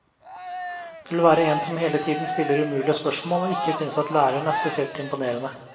Det vil være en som hele tiden stiller umulige spørsmål og ikke synes at læreren er spesielt imponerende.